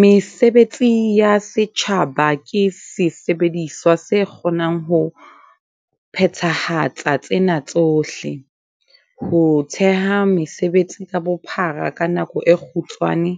Mesebetsi ya setjhaba ke sesebediswa se ka kgonang ho phethahatsang tsena tsohle- ho theha mesebetsi ka bophara ka nako e kgutshwane